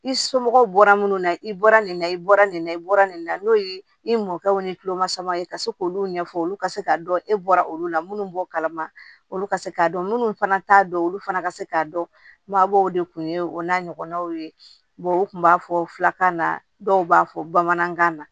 I somɔgɔw bɔra minnu na i bɔra nin na i bɔra nin na i bɔra nin na n'o ye i mɔkɛw ni tuloma sama ka se k'olu ɲɛfɔ olu ka se k'a dɔn e bɔra olu la minnu b'o kalama olu ka se k'a dɔn minnu fana t'a dɔn olu fana ka se k'a dɔn babaw de kun ye o n'a ɲɔgɔnnaw ye u tun b'a fɔkan na dɔw b'a fɔ bamanankan na